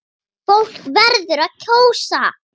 Fólk verður að kjósa!